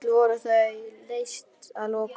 Öll voru þau leyst að lokum.